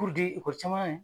di ikɔli caman na ye.